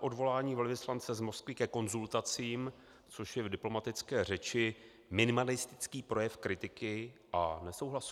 odvolání velvyslance z Moskvy ke konzultacím, což je v diplomatické řeči minimalistický projev kritiky a nesouhlasu?